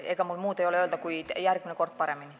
Ega mul muud ei ole öelda, kui et järgmine kord paremini.